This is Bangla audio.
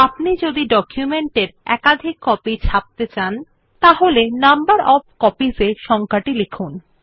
আপনি যদি ডকুমেন্টের একাধিক কপি ছাপতে চান তাহলে নাম্বার ওএফ কপিস ত়ে সংখ্যাটি লিখুন